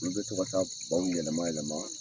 Olu bɛ to ka taa baw yɛlɛma yɛlɛma